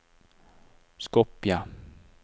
Skopje